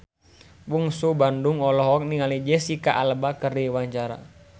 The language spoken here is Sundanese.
Bungsu Bandung olohok ningali Jesicca Alba keur diwawancara